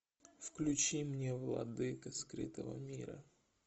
включи мне владыка скрытого мира